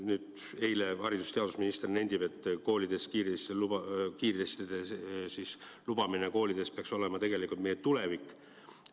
Nüüd eile haridus- ja teadusminister nentis, et kiirtestide lubamine koolides peaks olema tegelikult meie tulevik.